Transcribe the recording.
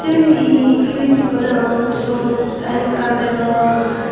sayni he frij ikko degong mui suot fan ekkan degong.